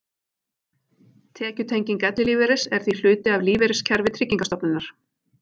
Tekjutenging ellilífeyris er því hluti af lífeyriskerfi Tryggingarstofnunar.